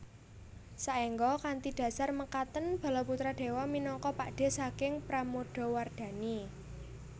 Saengga kanthi dhasar mekaten Balaputradewa minangka pakdhe saking Pramodawardhani